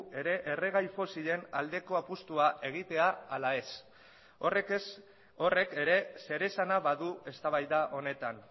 ere erregai fosilen aldeko apustua egitea ala ez horrek ere zer esana badu eztabaida honetan